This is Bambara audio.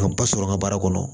ba sɔrɔ n ka baara kɔnɔ